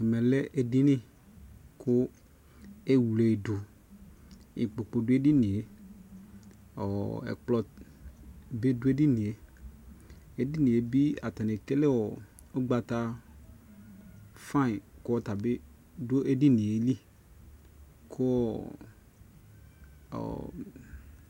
Ɛmɛ lɛ ɛdini ku ɛwle duIkpokpo du ɛdini yɛƆ ɛkplɔ bi du ɛdini yɛƐdini yɛ bi atani ekele ugbata fain kɔ ta bi du ɛdini yɛ liKu ɔɔ